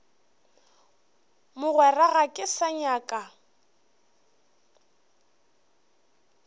mogwera ga ke sa nyaka